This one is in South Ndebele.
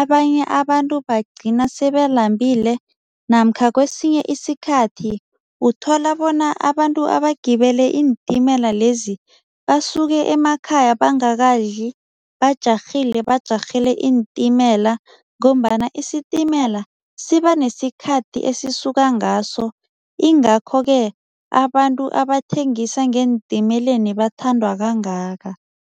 abanye abantu bagcina sebalambile namkha kwesinye isikhathi, uthola bona abantu abagibele iintimela lezi basuke emakhaya bangakadli bajarhile, bajarhele iintimela ngombana isitimela sibanesikhathi esisuka ngaso ingakho-ke abantu abathengisa ngeentimeleni bathandwa kangaka.